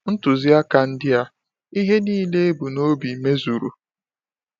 “Ntuziaka” ndị a—ihe niile e bu n’obi—mezuru.